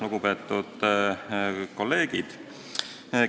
Lugupeetud kolleegid!